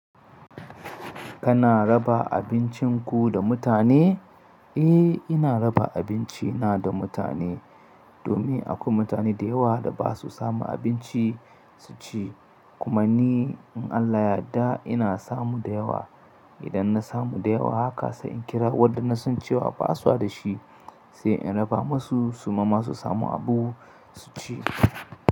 Kana raba abincinku da mutane? Eh, ina raba abinci na da mutane, domin akwai mutane da yawa da ba su samu abinci su ci. Kuma ni in Allah ya yadda ina samu da yawa, idan na samu da yawa haka sai in kira waɗanda na san cewa ba su da shi, sai in raba masu su ma su samu abu su ci.